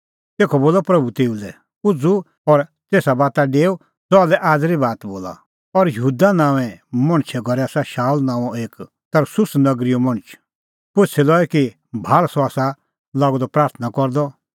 तेखअ बोलअ प्रभू तेऊ लै उझ़ू और तेसा बाता डेऊ ज़हा लै आज़री बात बोला और यहूदा नांओंए मणछे घरै आसा शाऊल नांओं एक तरसुस नगरीओ मणछ पुछ़ी लऐ किल्हैकि भाल़ सह आसा लागअ द प्राथणां करदअ